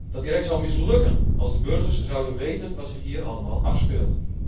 Dat direct zou mislukken als de burgers zouden weten wat zich hier allemaal afspeelt?